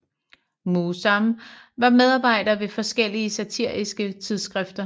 Mühsam var medarbejder ved forskellige satiriske tidskrifter